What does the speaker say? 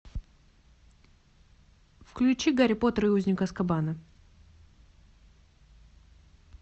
включи гарри поттер и узник азкабана